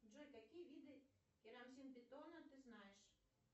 джой какие виды керамзитобетона ты знаешь